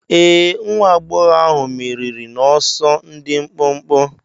Ee. nwa agbọghọ ahụ meriri n'ọsọ dị mkpụmkpụ.